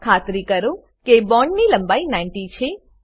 ખાતરી કરો કે બોન્ડ ની લંબાઈ 90 છે